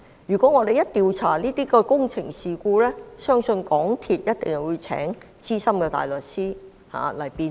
如果我們調查這些工程事故，相信港鐵公司必定會聘請資深大律師辯護。